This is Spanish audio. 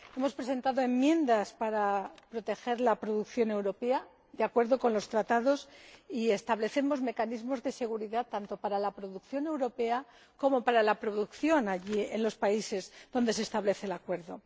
Hemos presentado enmiendas para proteger la producción europea, de acuerdo con los Tratados, y establecer mecanismos de seguridad tanto para la producción europea como para la producción de los países donde se aplica el acuerdo.